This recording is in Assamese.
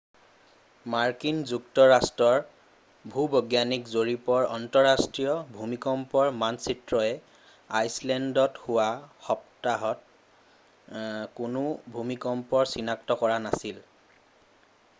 মাৰ্কিন যুক্তৰাষ্ট্ৰৰ ভূ-বৈজ্ঞানিক জৰীপৰ আন্তঃৰাষ্ট্ৰীয় ভূমিকম্পৰ মানচিত্ৰই আইচলেণ্ডত যোৱা সপ্তাহত কোনো ভূমিকম্প চিনাক্ত কৰা নাছিল